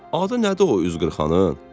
Adı nədir o üzqırxanın?"